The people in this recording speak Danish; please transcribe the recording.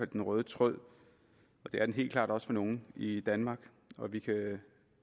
den røde tråd og det er den helt klart også for nogle i danmark vi kan